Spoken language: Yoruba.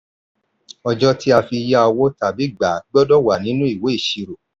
ọjọ́ tí a fi yá owó tàbí gbà á gbọdọ̀ wà nínú ìwé ìṣirò.